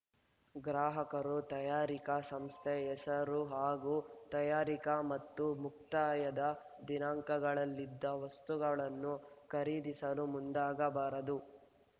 ಗ್ರಾಹಕರು ತಯಾರಿಕಾ ಸಂಸ್ಥೆ ಹೆಸರು ಹಾಗೂ ತಯರಿಕಾ ಮತ್ತು ಮುಕ್ತಾಯದ ದಿನಾಂಕಗಳಿಲ್ಲದ ವಸ್ತುಗಳನ್ನು ಖರೀದಿಸಲು ಮುಂದಾಗಬಾರದು